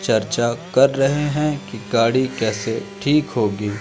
चर्चा कर रहे हैं कि गाड़ी कैसे ठीक होगी।